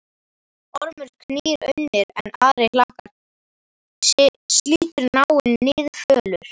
Ormur knýr unnir, en ari hlakkar, slítur nái Niðfölur